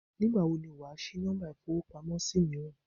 Nígbàwo ni wàá sí Nọ́mbà ìfowópamọ́ sí míràn